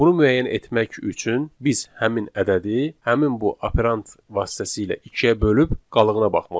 Bunu müəyyən etmək üçün biz həmin ədədi, həmin bu operant vasitəsilə ikiyə bölüb qalığına baxmalıyıq.